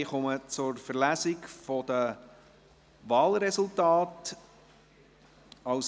Ich komme zur Verlesung der Wahlresultate.